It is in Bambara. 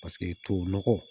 Paseke tubabu nɔgɔ